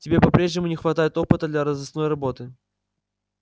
тебе по-прежнему не хватает опыта для розыскной работы